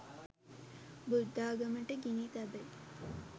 බුද්ධාගමට ගිනි තැබෙයි